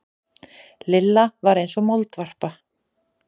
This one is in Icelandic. Lilla var eins og moldvarpa.